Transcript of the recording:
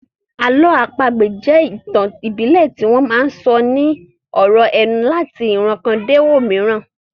Àlọ́ àpagbè jẹ́ ìtàn ìbílẹ̀ tí wọ́n máa sọ ní ọ̀rọ̀ ẹnu láti ìran kan dé òmíràn